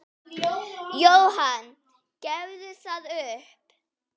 Jóhann: Gefurðu það upp?